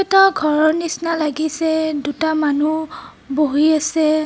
ঘৰৰ নিচিনা লাগিছে দুটা মানুহ বহি আছে।